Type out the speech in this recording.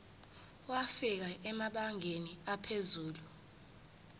wafika emabangeni aphezulu